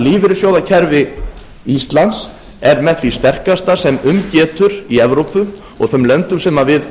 lífeyrissjóðakerfi íslands er með því sterkasta sem um getur í evrópu og öðrum löndum sem við